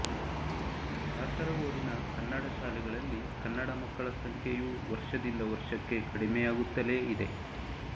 ಕಾಸರಗೋಡಿನ ಕನ್ನಡ ಶಾಲೆಗಳಲ್ಲಿ ಕನ್ನಡ ಮಕ್ಕಳ ಸಂಖ್ಯೆಯೂ ವರ್ಷದಿಂದ ವರ್ಷಕ್ಕೆ ಕಡಿಮೆಯಾಗುತ್ತಲೇ ಇದೆ